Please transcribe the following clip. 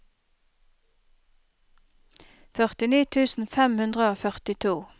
førtini tusen fem hundre og førtito